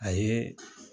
A ye